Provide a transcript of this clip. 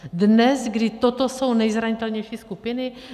Dnes, kdy toto jsou nejzranitelnější skupiny?